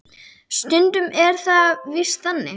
Stundum er það víst þannig.